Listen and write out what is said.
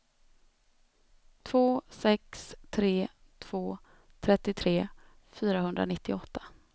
två sex tre två trettiotre fyrahundranittioåtta